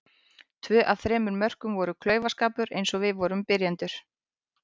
Tvö af þremur mörkum var klaufaskapur eins og við vorum byrjendur.